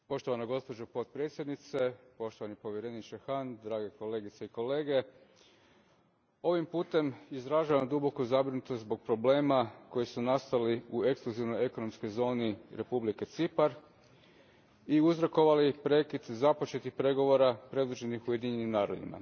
Gospođo potpredsjednice, poštovani povjereniče Hahn, dragi kolegice i kolege, ovim putem izražavam duboku zabrinutost zbog problema koji su nastali u ekskluzivnoj ekonomskoj zoni Republike Cipar i uzrokovali prekid započetih pregovora predvođenih Ujedinjenim narodima.